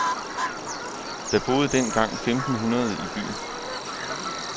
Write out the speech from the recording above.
Der boede dengang femten hundrede i byen.